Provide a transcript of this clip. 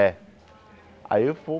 É. Aí eu